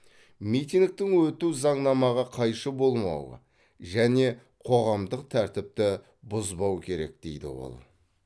митингтің өтуі заңнамаға қайшы болмауы және қоғамдық тәртіпті бұзбау керек дейді ол